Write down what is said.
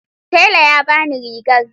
Tela ya ba ni rigar.